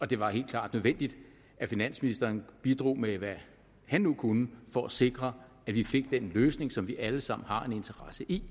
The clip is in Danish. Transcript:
det var helt klart nødvendigt at finansministeren bidrog med hvad han nu kunne for at sikre at vi fik den løsning som vi alle sammen har en interesse i